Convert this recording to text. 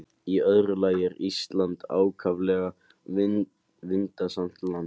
Í öðru lagi er Ísland ákaflega vindasamt land.